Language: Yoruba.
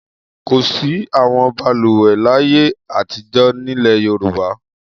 Kò sí àwọn balùwẹ̀ láyé àtijọ́ nílẹ̀ Yorùbá.